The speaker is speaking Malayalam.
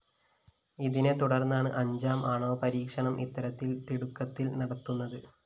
ഇതിനെ തുടര്‍ന്നാണ് അഞ്ചാം ആണവ പരീക്ഷണം ഇത്തരത്തില്‍ തിടുക്കത്തില്‍ നടത്തുന്നത്